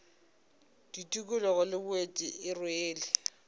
tikologo le boeti e rwele